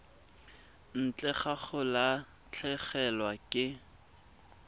ntle ga go latlhegelwa ke